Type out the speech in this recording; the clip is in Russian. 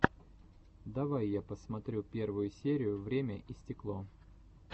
давай я посмотрю первую серию время и стекло